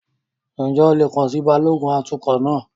Ǹjẹ́ o lè kàn sí Balógun atukọ̀ náà?